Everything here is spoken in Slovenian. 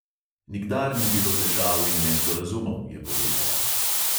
Nikdar ni bilo težav in nesporazumov, je povedala.